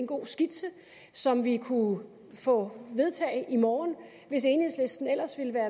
god skitse som vi kunne få vedtaget i morgen hvis enhedslisten ellers ville være